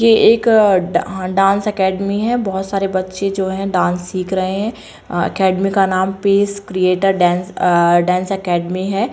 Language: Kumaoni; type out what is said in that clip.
ये एक आ-डा-डांस अकादेमी है बहोत सारे बच्चे जो हैं डांस सीख रहे हैं अकादेमी का नाम पेश क्रीऐटर डांस आ डांस अकादेमी है।